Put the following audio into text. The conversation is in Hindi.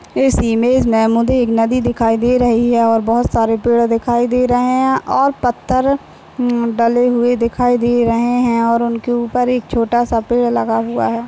इस इमेज मे मुझे एक नदी दिखाई दे रही हैं और बहुत सारे पड़े दिखाई दे रहे हैं और पत्थर हम्म डले हुई दिखाई दे रहे हैं और उनके ऊपर एक छोटासा पेड़ लगा हुआ हैं।